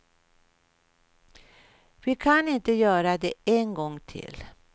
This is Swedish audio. Vi kan inte göra det en gång till.